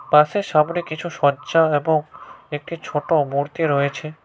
পাশে সামনে কিছু এবং একটি ছোট মূর্তি রয়েছে।